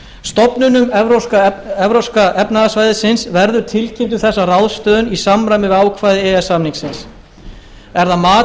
stofnunum evrópska efnahagssvæðisins verður tilkynnt um þessa ráðstöfun í samræmi við ákvæði e e s samningsins er það mat